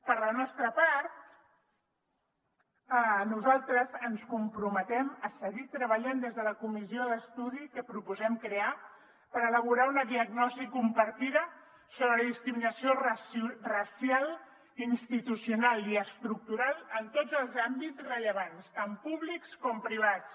per la nostra part nosaltres ens comprometem a seguir treballant des de la comissió d’estudi que proposem crear per elaborar una diagnosi compartida sobre la discriminació racial institucional i estructural en tots els àmbits rellevants tant públics com privats